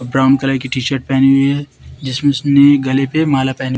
brown colour की T shirt पेहने हुए है जिसमें उसने गले पे माला पेहने--